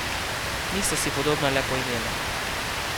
Nista si podobna le po imenu.